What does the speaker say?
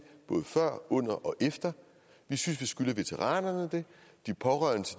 både før under og efter vi synes vi skylder veteranerne og de pårørende til